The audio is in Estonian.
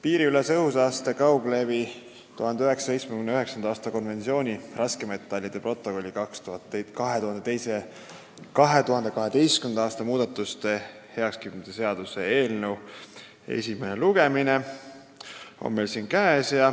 Piiriülese õhusaaste kauglevi 1979. aasta konventsiooni raskmetallide protokolli 2012. aasta muudatuste heakskiitmise seaduse eelnõu esimene lugemine on meil käes.